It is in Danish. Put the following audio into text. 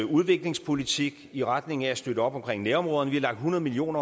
udviklingspolitik i retning af at støtte op om nærområderne vi har lagt hundrede million